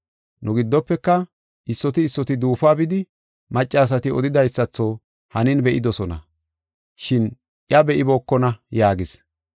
Nu giddofeka issoti issoti duufuwa bidi maccasati odidaysatho hanin be7idosona, shin iya be7ibookona” yaagis.